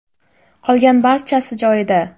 Qolgan barchasi joyida.